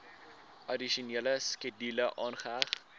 addisionele skedule aangeheg